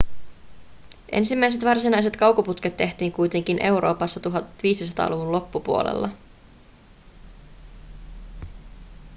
ensimmäiset varsinaiset kaukoputket tehtiin kuitenkin euroopassa 1500-luvun loppupuolella